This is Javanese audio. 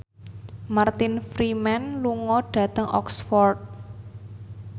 Martin Freeman lunga dhateng Oxford